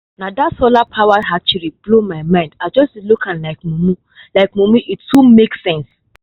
na that solar-powered hatchery blow my mind i just dey look am like mumu like mumu e too make sense